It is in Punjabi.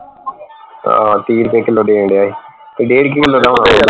ਹਾਂ ਤੀਹ ਰੁਪਏ ਕਿੱਲੋ ਦੇਣ ਢਆ ਸੀ